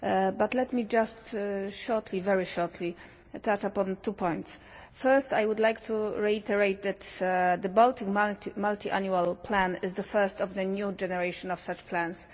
But let me just shortly, very shortly, touch upon two points. First I would like to reiterate that the Baltic multiannual plan is the first of the new generation of such plans.